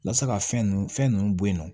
Yasa ka fɛn nunnu fɛn ninnu bɔ yen nɔ